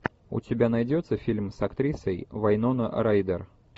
у тебя найдется фильм с актрисой вайнона райдер